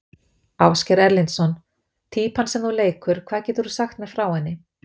Ásgeir Erlendsson: Týpan sem þú leikur, hvað getur þú sagt mér frá henni?